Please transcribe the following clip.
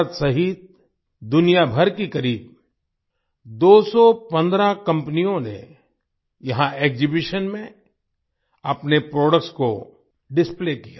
भारत सहित दुनियाभर की करीब 215 कंपनियों ने यहाँ एक्सिबिशन में अपने प्रोडक्ट्स को डिस्प्ले किया